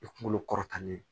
I kunkolo kɔrɔtanni